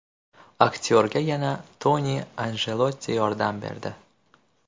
Aktyorga yana Toni Angelotti yordam berdi.